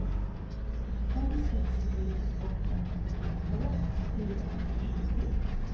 fem sex tre åtta trettiotvå fyrahundratjugo